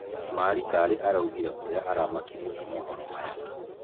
Mari Karĩ nake araugire ũria aramakirio nĩ mohoro maya.